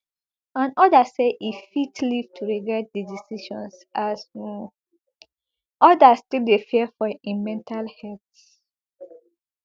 and odas say e fit live to regret di decision as um odas still dey fear for im mental heath